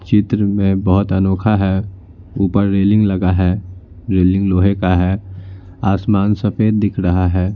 चित्र में बहुत अनोखा है ऊपर रेलिंग लगा है रेलिंग लोहे का है आसमान सफेद दिख रहा है।